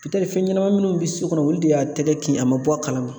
fɛn ɲɛnɛmanin minnu bɛ so kɔnɔ olu de y'a tɛgɛ kin a man bɔ a kalama.